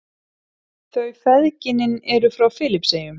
Þau feðginin eru frá Filippseyjum.